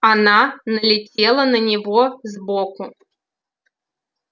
она налетела на него сбоку